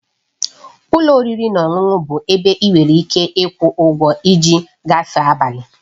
Ụlọ oriri na ọṅụṅụ bụ ebe ị nwere ike ịkwụ ụgwọ iji gafee abalị